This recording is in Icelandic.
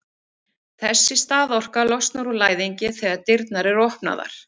Þessi staðorka losnar úr læðingi þegar dyrnar eru opnaðar.